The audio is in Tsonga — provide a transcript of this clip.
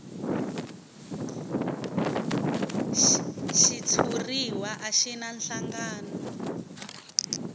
xitshuriwa a xi na nhlangano